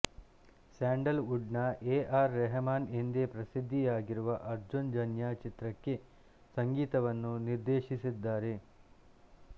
sandal wood ನ A R Rahman ಎಂದೇ ಪ್ರಸಿದ್ದಿಯಗಿರುವ ಅರ್ಜುನ್ ಜನ್ಯ ಚಿತ್ರಕ್ಕೆ ಸಂಗೀತವನ್ನುನಿರ್ದೆಶಿಸಿದ್ದಾರೆ